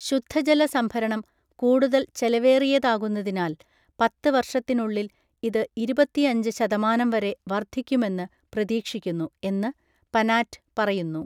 ശുദ്ധജല സംഭരണം കൂടുതൽ ചെലവേറിയതാകുന്നതിനാൽ പത്ത്‌ വർഷത്തിനുള്ളിൽ ഇത് ഇരുപത്തിയഞ്ച് ശതമാനം വരെ വർദ്ധിക്കുമെന്ന് പ്രതീക്ഷിക്കുന്നു, എന്ന് പനാറ്റ് പറയുന്നു.